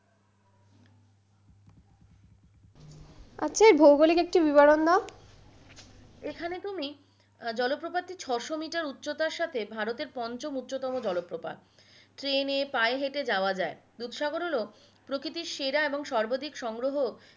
সেই ভৌগোলিক একটা বিবরণ দাও